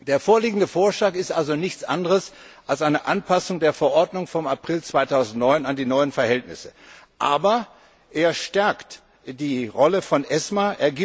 Der vorliegende Vorschlag ist also nichts anderes als eine Anpassung der Verordnung vom April 2009 an die neuen Verhältnisse, aber er stärkt die Rolle von ESMA.